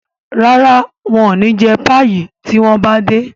ràrá wón ní jé Páyi tí wón bá dé.